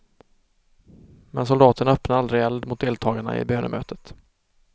Men soldaterna öppnade aldrig eld mot deltagarna i bönemötet.